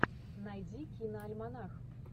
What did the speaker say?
найди киноальманах